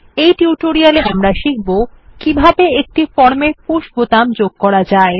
এই টিউটোরিয়ালে আমরা শিখব কিভাবে একটি ফর্ম এ পুশ বোতাম যোগ করা যায়